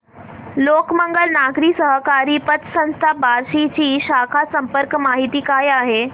लोकमंगल नागरी सहकारी पतसंस्था बार्शी ची शाखा संपर्क माहिती काय आहे